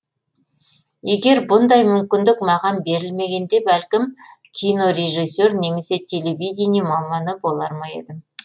егер бұндай мүмкіндік маған берілмегенде бәлкім кинорежиссер немесе телевидение маманы болар ма едім